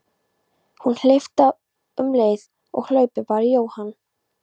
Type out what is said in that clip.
Hann hleypti af um leið og hlaupið bar í Jóhann.